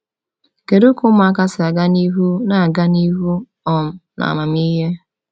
Kedu ka ụmụaka si aga n’ihu “na-aga n’ihu um n’amamihe”?